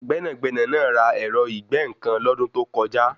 Gbẹ́nàgbẹ́nà náà ra ẹ̀rọ ìgbẹ́-nǹkan lọ́dún tó kọjá.